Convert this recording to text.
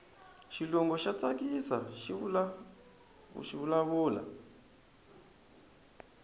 xilungu xa tsakisaku xivula vula